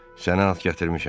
Sənə at gətirmişəm.